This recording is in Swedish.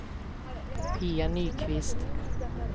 Pia Nyqvist